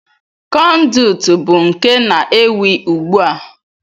Kọnduit bụ nke na-ewi ugbu a.